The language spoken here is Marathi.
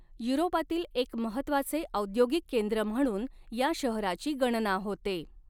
युरोपातील एक महत्त्वाचे औद्योगिक केंद्र म्हणून या शहराची गणना होते.